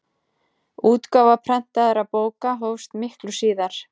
útgáfa prentaðra bóka hófst miklu síðar